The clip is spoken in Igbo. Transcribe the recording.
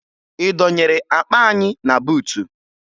Ị dọnyere akpa anyị na buutu?